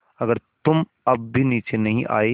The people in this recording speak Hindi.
अगर तुम अब भी नीचे नहीं आये